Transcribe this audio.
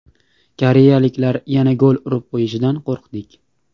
Koreyaliklar yana gol urib qo‘yishidan qo‘rqdik.